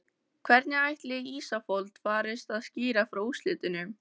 Hvernig ætli Ísafold farist að skýra frá úrslitunum?